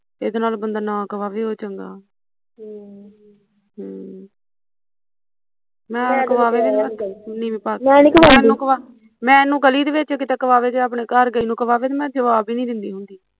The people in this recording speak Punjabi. ਇਹਦੇ ਨਾਲੋਂ ਬੰਦਾ ਨਾ ਕਹਾਵੈ ਉਹੀਂ ਚੰਗਾ ਹਮ ਹਮ ਮੈਨੂੰ ਗੱਲਈ ਦੇ ਵਿੱਚ ਕਿਤੇ ਕਵਾਵੇ ਜਾਂ ਘਰ ਗਈ ਨੂੰ ਕਵਾਵੇ ਤੇ ਮੈਂ ਜਵਾਬ ਈ ਨੀ ਦਿੰਦੀ ਹੁੰਦੀ